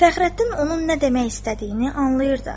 Fəxrəddin onun nə demək istədiyini anlayırdı.